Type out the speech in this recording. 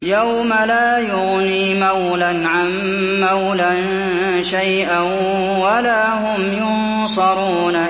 يَوْمَ لَا يُغْنِي مَوْلًى عَن مَّوْلًى شَيْئًا وَلَا هُمْ يُنصَرُونَ